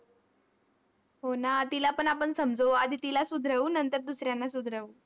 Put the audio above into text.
हो ना, तिलापण आपण समजवू. आधी तिला सुधरवू नंतर दुसऱ्यांना सुधरवू.